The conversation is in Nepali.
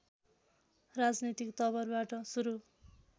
राजनीतिक तवरबाट सुरु